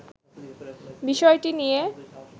বিষয়টি নিয়ে